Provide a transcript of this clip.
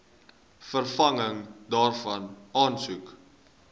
vervanging daarvan aansoek